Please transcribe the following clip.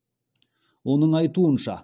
оның айтуынша